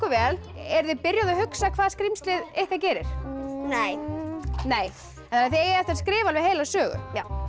vel eruð þið byrjuð að hugsa hvað skrímslið ykkar gerir nei nei en þið eigið eftir að skrifa alveg heila sögu já